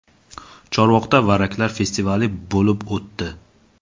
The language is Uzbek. Chorvoqda varraklar festivali bo‘lib o‘tdi .